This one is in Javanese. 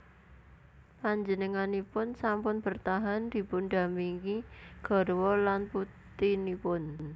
Panjenenganipun sampun bertahan dipundhampingi garwa lan putinipun